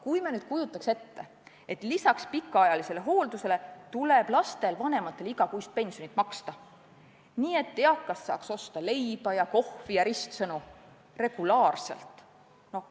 Kui me nüüd kujutaks ette, et lisaks pikaajalisele hooldusele tuleb lastel vanematele igakuist toetusraha maksta, et nad saaks ikka leiba ja kohvi ja ristsõnu regulaarselt osta.